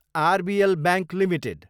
RBL bank Ltd